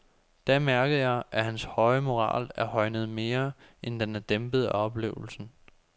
Da mærkede jeg, at hans moral er højnet mere, end den er dæmpet af oplevelsen.